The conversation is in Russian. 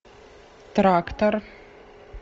трактор